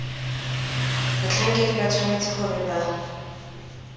batlhankedi ba tshwanetse gore ba